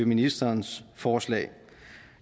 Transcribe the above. ministerens forslag